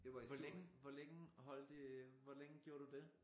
Hvor længe hvor længe holdte hvor længe gjorde du det